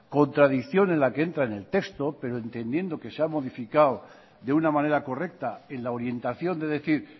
contradicción en la que entra en el texto pero entendiendo que se ha modificado de una manera correcta en la orientación de decir